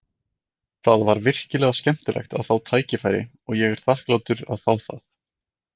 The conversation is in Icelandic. Það var virkilega skemmtilegt að fá tækifæri og ég er þakklátur að fá það.